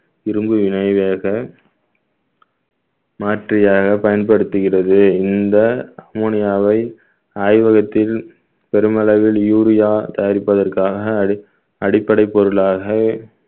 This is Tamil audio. இரும்பு வினை வேக மாற்றியாக பயன்படுத்துகிறது இந்த ammonia வை ஆய்வகத்தில் பெருமளவில் urea தயாரிப்பதற்காக அடிப்~ அடிப்படை பொருளாக